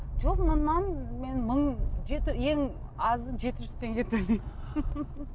жоқ мыңнан мен мың жеті ең азы жеті жүз теңге төлеймін